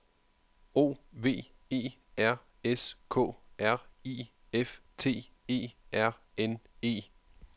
O V E R S K R I F T E R N E